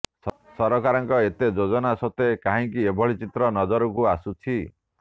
ସରକାରଙ୍କ ଏତେ ଯୋଜନା ସତ୍ବେ କାହିଁକି ଏଭଳି ଚିତ୍ର ନଜରକୁ ଆସୁଛି